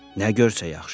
Nə görsə yaxşıdır.